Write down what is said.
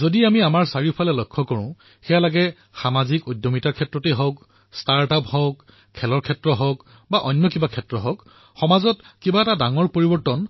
যদি আমি ওচৰেপাজৰে চাওঁ তেতিয়া দেখিম যে সামাজিক উদ্যমিতাই হওক ষ্টাৰ্টআপেই হওক ক্ৰীড়াই হওক অথবা অন্য কোনো ক্ষেত্ৰই হওকসমাজলৈ পৰিৱৰ্তন